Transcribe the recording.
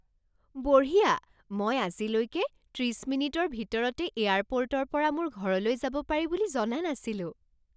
বঢ়িয়া! মই আজিলৈকে ত্ৰিছ মিনিটৰ ভিতৰতে এয়াৰপৰ্টৰ পৰা মোৰ ঘৰলৈ যাব পাৰি বুলি জনা নাছিলোঁ।